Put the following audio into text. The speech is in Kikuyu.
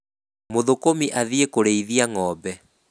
Mũthũkũmi athiĩ kũrĩithia ng'ombe.